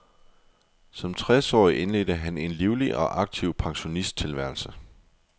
Som tres årig indledte han en livlig og aktiv pensionisttilværelse.